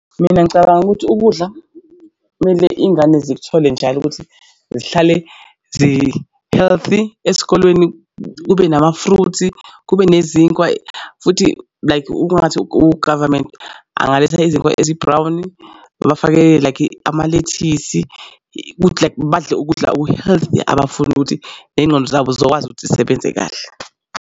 Mina ngicabanga ukuthi ukudla kumele iy'ngane zithole njalo ukuthi zihlale zi-healthy esikolweni kube nama-fruit, kube nezinkwa. Futhi like ungathi u-government angaletha izinkwa ezi-brown babafakele like amalethisi ukuthi like badle ukudla oku-healthy abafundi ukuthi ney'ngqondo zabo zizokwazi ukuthi zisebenze kahle.